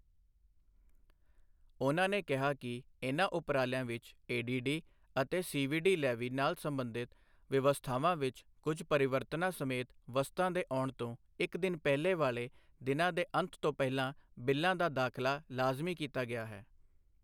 ਉਨ੍ਹਾਂ ਨੇ ਕਿਹਾ ਕਿ ਇਨ੍ਹਾਂ ਉਪਰਾਲਿਆਂ ਵਿੱਚ ਏ ਡੀ ਡੀ ਅਤੇ ਸੀ ਵੀ ਡੀ ਲੈਵੀ ਨਾਲ ਸਬੰਧਤ ਵਿਵਸਥਾਵਾਂ ਵਿੱਚ ਕੁਝ ਪਰਿਵਰਤਨਾਂ ਸਮੇਤ ਵਸਤਾਂ ਦੇ ਆਉਣ ਤੋਂ ਇੱਕ ਦਿਨ ਪਹਲਿਾਂ ਵਾਲੇ ਦਿਨ ਦੇ ਅੰਤ ਤੋਂ ਪਹਿਲਾਂ ਬਿੱਲਾਂ ਦਾ ਦਾਖ਼ਲਾ ਲਾਜ਼ਮੀ ਕੀਤਾ ਗਿਆ ਹੈ।